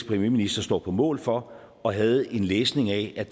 premierminister står på mål for og havde en læsning af